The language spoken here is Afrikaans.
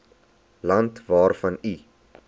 land waarvan u